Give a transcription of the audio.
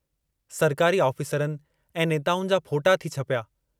सरकारी ऑफिसरनि ऐं नेताउनि जा फोटा थी छपिया।